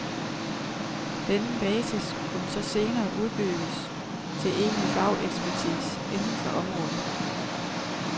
Denne basis kunne så senere udbygges til egentlig fagekspertise inden for området.